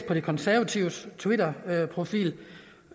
på de konservatives twitterprofil